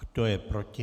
Kdo je proti?